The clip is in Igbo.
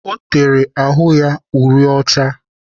O tere ahụ ya uri ọcha.